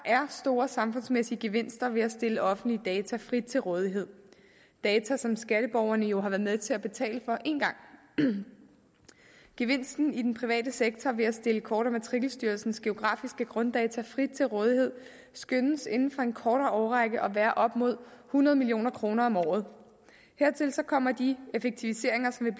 store samfundsmæssige gevinster ved at stille offentlige data frit til rådighed data som skatteborgerne jo har været med til at betale for én gang gevinsten i den private sektor ved at stille kort og matrikelstyrelsens geografiske grunddata frit til rådighed skønnes inden for en kortere årrække at være op mod hundrede million kroner om året hertil kommer de effektiviseringer som